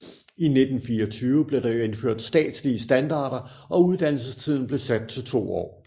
I 1924 blev der indført statslige standarder og uddannelsestiden blev sat til to år